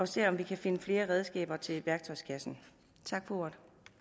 se om vi kan finde flere redskaber til værktøjskassen tak for